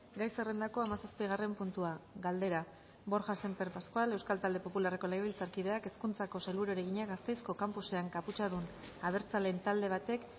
gai zerrendako hamazazpigarren puntua galdera borja sémper pascual euskal talde popularreko legebiltzarkideak hezkuntzako sailburuari egina gasteizko campusean kaputxadun abertzaleen talde batek